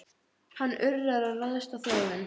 Hann urrar og ræðst á þjófinn.